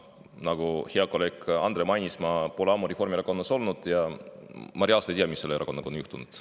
Nagu hea kolleeg Andre mainis, ma pole ammu Reformierakonnas olnud ja ma reaalselt ei tea, mis selle erakonnaga on juhtunud.